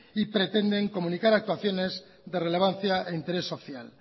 y pretenden comunicar actuaciones de relevancia e interés social